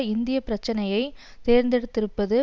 இந்த பிரச்சனையை தேர்ந்தெடுத்திருப்பது